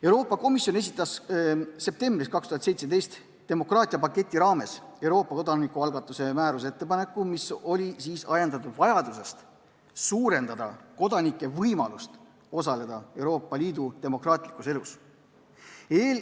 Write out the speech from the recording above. Euroopa Komisjon esitas septembris 2017 demokraatiapaketi raames Euroopa kodanikualgatuse määruse ettepaneku, mis oli ajendatud vajadusest suurendada kodanike võimalust osaleda Euroopa Liidu demokraatlikus elus.